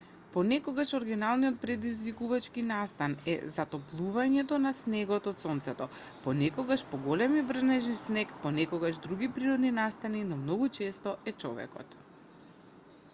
понекогаш оригиналниот предизвикувачки настан е затоплувањето на снегот од сонцето понекогаш поголеми врнежи снег понекогаш други природни настани но многу често е човекот